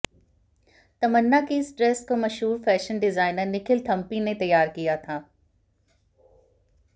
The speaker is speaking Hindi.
तमन्ना की इस ड्रेस को मशहूर फैशन डिजाइनर निखिल थम्पी ने तैयार किया था